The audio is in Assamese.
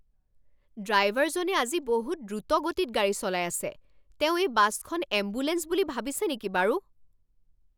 ড্ৰাইভাৰজনে আজি বহুত দ্ৰুতগতিত গাড়ী চলাই আছে। তেওঁ এই বাছখন এম্বুলেঞ্চ বুলি ভাবিছে নেকি বাৰু?